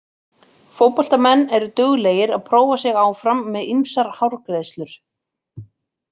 Fótboltamenn eru duglegir að prófa sig áfram með ýmsar hárgreiðslur.